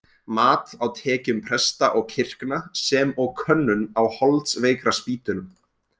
Mat á tekjum presta og kirkna, sem og könnun á holdsveikraspítölum.